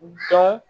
Dɔn